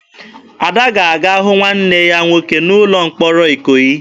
Ada ga-aga hụ nwanne ya nwoke nọ n'ụlọ mkpọrọ Ikoyi.